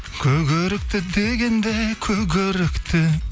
көк өрікті дегенде көк өрікті